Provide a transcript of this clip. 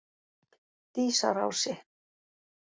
Dísarási